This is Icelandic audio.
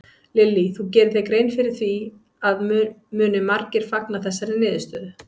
Lillý: Þú gerir þér grein fyrir því að muni margir fagna þessari niðurstöðu?